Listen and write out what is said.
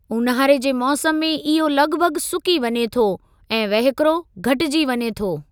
ऊन्हारे जे मौसम में इहो लॻभॻ सुकी वञे थो, ऐं वहिकिरो घटिजी वञे थो।